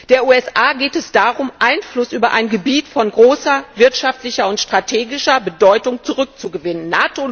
Den USA geht es darum, Einfluss über ein Gebiet von großer wirtschaftlicher und strategischer Bedeutung zurückzugewinnen.